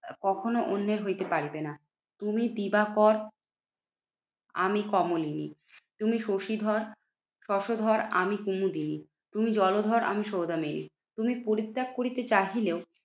কখনো অন্যের হইতে পারিবে না। তুমি দিবাকর আমি কমলিনী। তুমি শশীধর শশধর আমি কুমুদিনী। তুমি জলধর আমি সৌদামিনী। তুমি পরিত্যাগ করিতে চাহিলেও